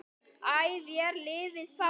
æ vér lifað fáum